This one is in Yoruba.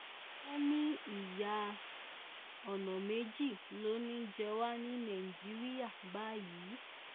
wọ́n ní ìyá ọ̀nà méjì ló ń jẹ wá ní nàìjíríà báyìí